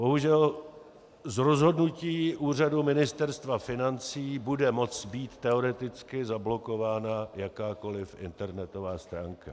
Bohužel z rozhodnutí úřadu Ministerstva financí bude moct být teoreticky zablokována jakákoliv internetová stránka.